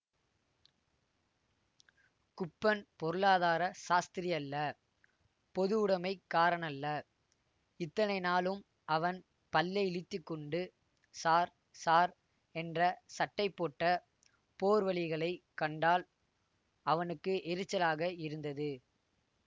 குப்பன் பொருளாதார சாஸ்திரியல்ல பொதுவுடைமைக்காரனல்ல இத்தனை நாளும் அவன் பல்லை இளித்துக்கொண்டு ஸார் ஸார் என்ற சட்டைபோட்ட போர்வழிகளைக் கண்டால் அவனுக்கு எரிச்சலாக இருந்தது